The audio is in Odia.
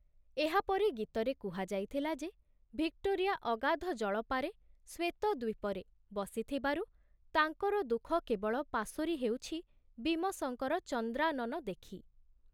ଏହାପରେ ଗୀତରେ କୁହାଯାଇଥିଲା ଯେ ଭିକ୍ଟୋରିଆ ଅଗାଧଜଳପାରେ ଶ୍ଵେତ ଦ୍ବୀପରେ ବସିଥିବାରୁ ତାଙ୍କର ଦୁଃଖ କେବଳ ପାଶୋରି ହେଉଛି ବୀମସଙ୍କର ଚନ୍ଦ୍ରାନନ ଦେଖି ।